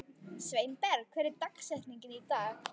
Sveinberg, hver er dagsetningin í dag?